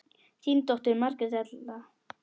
Þín dóttir, Margrét Erla.